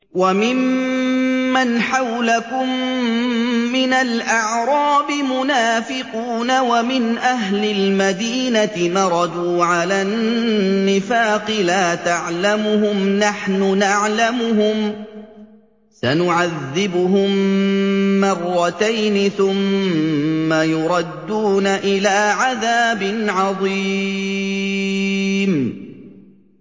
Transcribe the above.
وَمِمَّنْ حَوْلَكُم مِّنَ الْأَعْرَابِ مُنَافِقُونَ ۖ وَمِنْ أَهْلِ الْمَدِينَةِ ۖ مَرَدُوا عَلَى النِّفَاقِ لَا تَعْلَمُهُمْ ۖ نَحْنُ نَعْلَمُهُمْ ۚ سَنُعَذِّبُهُم مَّرَّتَيْنِ ثُمَّ يُرَدُّونَ إِلَىٰ عَذَابٍ عَظِيمٍ